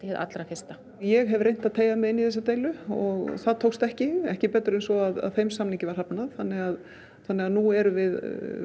hið allra fyrsta ég hef reynt að teygja mig inn í þessa deilu það tókst ekki ekki betur en svo að þeim samningi var hafnað þannig að þannig að nú erum við